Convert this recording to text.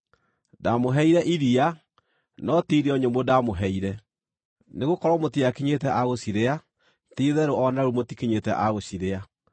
Ndaamũheire iria, no ti irio nyũmũ ndaamũheire, nĩgũkorwo mũtiakinyĩte a gũcirĩa. Ti-itherũ o na rĩu mũtikinyĩte a gũcirĩa.